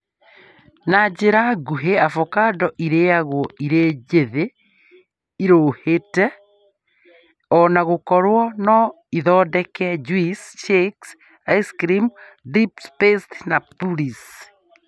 Na njira nguhĩ, avocado ĩrĩagwo ĩrĩ njĩthĩ (ĩruhĩte) ona gũkorwo no ĩthondeke juici , shakes, ice creams, dips, pastes na purees